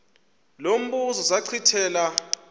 lo mbuzo zachithela